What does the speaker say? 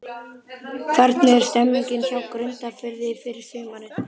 Hvernig er stemningin hjá Grundarfirði fyrir sumarið?